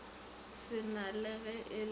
sena le ge e le